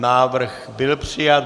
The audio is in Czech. Návrh byl přijat.